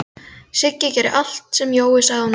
Siggi gerði allt sem Jói sagði honum að gera.